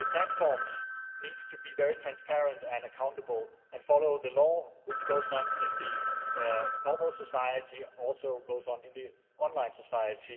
The platforms need to be very transparent and accountable and follow the law which goes on in normal society and also goes on in the online society